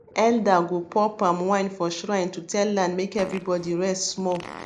elder go pour palm wine for shrine to tell land make everybody rest small